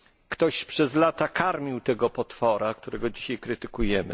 Ktoś przez lata karmił tego potwora, którego dzisiaj krytykujemy.